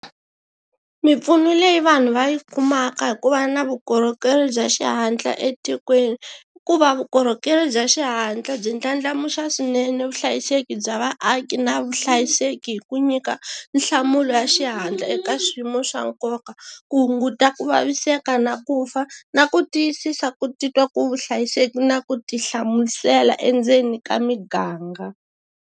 Mimpfuno leyi vanhu va yi kumaka hi ku va na vukorhokeri bya xihatla etikweni i ku va vukorhokeri bya xihatla byi ndlandlamuxa swinene vuhlayiseki bya vaaki na vuhlayiseki hi ku nyika nhlamulo ya xihatla eka swiyimo swa nkoka, ku hunguta ku vaviseka na ku fa na ku tiyisisa ku titwa ku hlayiseka na ku tihlamusela endzeni ka miganga.